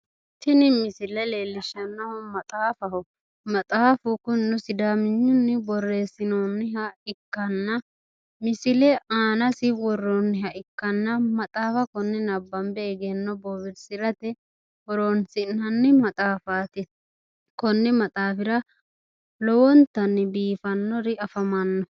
Tini misile leellishshannohu maxaafaho. Maxaafu kunino sudaaminyunni birreessinoonniha ikkanna misile aanasi worroonniha ikkanna maxaafa konne nabbambe egenno bowirsirate horonsi'nanni maxaafaati. Konni maxaafira lowonta biifannori afamanno.